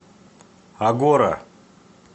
агора